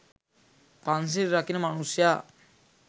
පන්සිල් රකින මනුෂ්‍යා